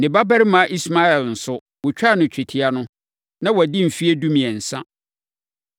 Ne babarima Ismael nso, wɔtwaa no twetia no, na wadi mfeɛ dumiɛnsa.